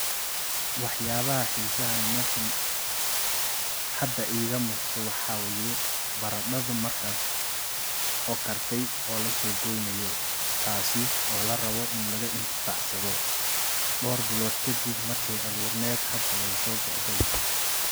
Wax yaba hisa badhan hada iga muqdo waxaye barada markas oo karti oo lasogoyay tasi oo larabo in lugu intifacsadho dor biri kadib markay aburned haday so goodi.